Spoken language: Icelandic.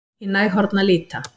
Í næg horn að líta